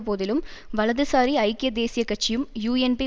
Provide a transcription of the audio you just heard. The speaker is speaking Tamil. போதிலும் வலதுசாரி ஐக்கிய தேசிய கட்சியும் யூஎன்பி